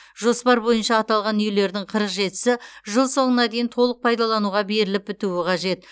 жоспар бойынша аталған үйлердің қырық жетісі жыл соңына дейін толық пайдалануға беріліп бітуі қажет